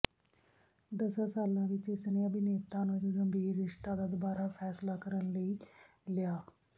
ਦਸਾਂ ਸਾਲਾਂ ਵਿੱਚ ਇਸਨੇ ਅਭਿਨੇਤਾ ਨੂੰ ਇੱਕ ਗੰਭੀਰ ਰਿਸ਼ਤਾ ਦਾ ਦੁਬਾਰਾ ਫੈਸਲਾ ਕਰਨ ਲਈ ਲਿਆ